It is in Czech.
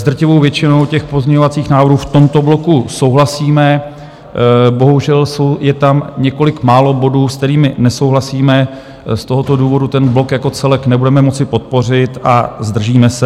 S drtivou většinou těch pozměňovacích návrhů v tomto bloku souhlasíme, bohužel je tam několik málo bodů, s kterými nesouhlasíme, z tohoto důvodu ten blok jako celek nebudeme moci podpořit a zdržíme se.